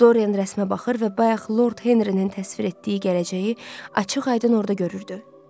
Dorian rəsmə baxır və bayaq Lord Henrinin təsvir etdiyi gələcəyi açıq-aydın orda görürdü.